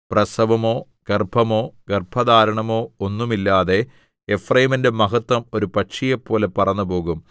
പ്രസവമോ ഗർഭമോ ഗർഭധാരണമോ ഒന്നും ഇല്ലാതെ എഫ്രയീമിന്റെ മഹത്വം ഒരു പക്ഷിയെപ്പോലെ പറന്നുപോകും